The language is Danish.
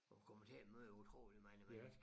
Du kommer til at møde utroligt mange mennesker